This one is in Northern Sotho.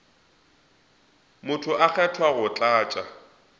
motho a kgethwa go tlatša